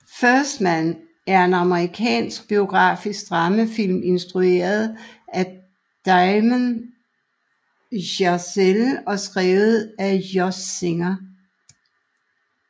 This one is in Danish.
First Man er en amerikansk biografisk dramafilm instrueret af Damien Chazelle og skrevet af Josh Singer